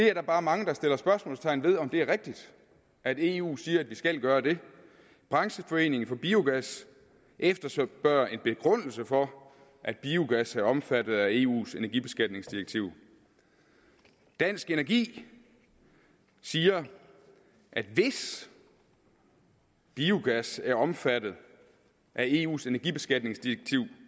er bare mange der sætter spørgsmålstegn ved om det er rigtigt at eu siger at vi skal gøre det brancheforeningen for biogas efterspørger en begrundelse for at biogas er omfattet af eus energibeskatningsdirektiv dansk energi siger at hvis biogas er omfattet af eus energibeskatningsdirektiv